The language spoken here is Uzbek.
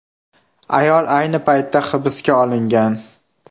Ayol ayni paytda hibsga olingan.